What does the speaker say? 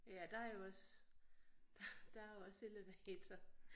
Ja der er jo også der er jo også elevator